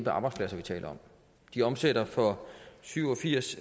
arbejdspladser vi taler om de omsætter for syv og firs